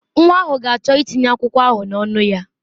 Nwa ahụ ga-achọ ịtinye akwụkwọ ahụ n'ọnụ ya.